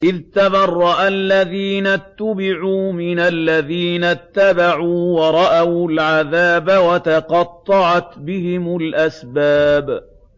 إِذْ تَبَرَّأَ الَّذِينَ اتُّبِعُوا مِنَ الَّذِينَ اتَّبَعُوا وَرَأَوُا الْعَذَابَ وَتَقَطَّعَتْ بِهِمُ الْأَسْبَابُ